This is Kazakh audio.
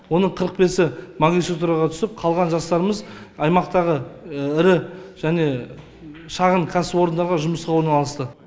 оның қырық бесі магистратураға түсіп қалған жастарымыз аймақтағы ірі және шағын кәсіпорындарға жұмысқа орналасты